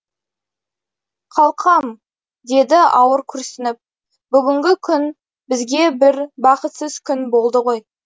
қалқам деді ауыр күрсініп бүгінгі күн бізге бір бақытсыз күн болды ғой